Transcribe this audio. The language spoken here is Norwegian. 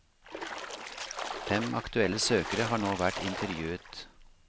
Fem aktuelle søkere har nå vært intervjuet.